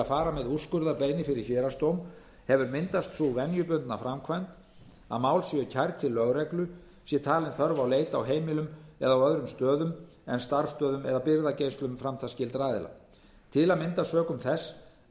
fara með úrskurðarbeiðni fyrir héraðsdóm hefur myndast sú venjubundna framkvæmd að mál séu kærð til lögreglu sé talin þörf á leit á heimilum eða á öðrum stöðum en starfsstöðvum eða birgðageymslum framtalsskyldra aðila til að mynda sökum þess